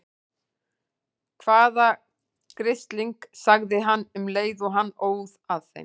Hvaða grisling. sagði hann um leið og hann óð að þeim.